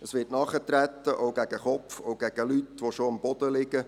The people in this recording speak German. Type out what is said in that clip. Es wird nachgetreten, auch gegen den Kopf und gegen Leute, die schon am Boden liegen.